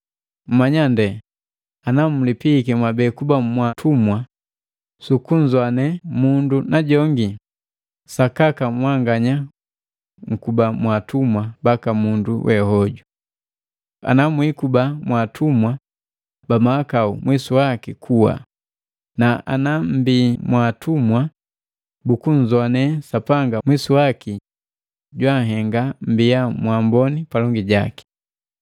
Mmanya nde ana mulipiiki mwabe kuba mwaatumwa sukunzoane mundu najongi, sakaka mwanganya mkuba mwaatumwa baka mundu we hoju. Ana mwiikuba mwaatumwa ba mahakau mwisu waki kuwa, na ana mmbii mwaatumwa bukunzoane Sapanga mwisu waki junhenga mmbiya mwaamboni palongi jaki.